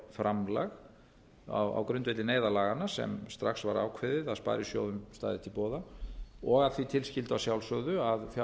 það stofnfjárframlag á grundvelli neyðarlaganna sem strax var ákveðið að sparisjóðum stæði til boða og að því tilskyldu að sjálfsögðu að hin